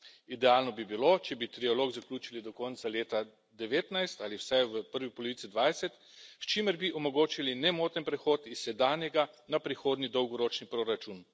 Idealno bi bilo, če bi trialog zaključili do konca leta 2019 ali vsaj v prvi polovici leta 2020, s čimer bi omogočili nemoten prehod s sedanjega na prihodnji dolgoročni proračun.